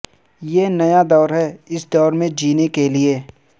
یہ نیا دور ہے اس دور میں جینےکے لیے